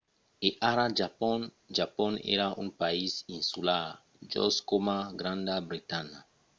e ara japon. japon èra un país insular just coma granda bretanha